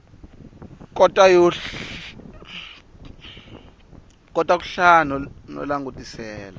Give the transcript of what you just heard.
kota ku hlaya no langutisela